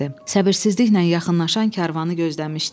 Səbirsizliklə yaxınlaşan karvanı gözləmişdi.